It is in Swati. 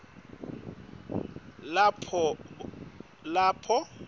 lapho bonkhe bantfu